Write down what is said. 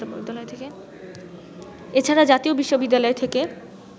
এছাড়া জাতীয় বিশ্ববিদ্যালয় থেকে